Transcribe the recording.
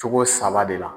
Cogo saba de la